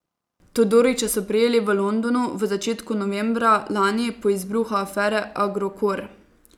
Todorića so prijeli v Londonu v začetku novembra lani po izbruhu afere Agrokor.